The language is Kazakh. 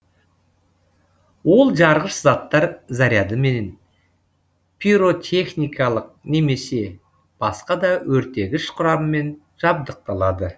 ол жарғыш заттар зарядымен пиротехникалық немесе басқа да өртегіш құраммен жабдықталады